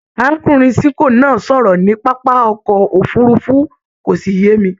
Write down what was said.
Arákùnrin Sinko náà sọ̀rọ̀ ní pápá ọkọ òfurùnfu, kò sí yé mi.